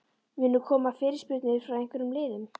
Munu koma fyrirspurnir frá einhverjum liðum?